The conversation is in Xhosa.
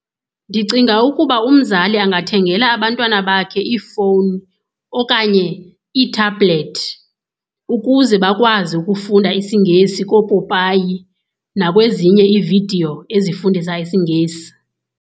Ndicinga ukuba umzali angathengela abantwana bakhe iifowuni okanye iithabhulethi ukuze bakwazi ukufunda isiNgesi koopopayi nakwezinye iividiyo ezifundisa isiNgesi.